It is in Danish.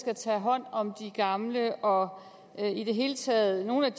skal tage hånd om de gamle og i det hele taget nogle